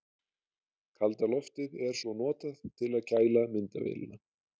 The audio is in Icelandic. Kalda loftið er svo notað til að kæla myndavélina.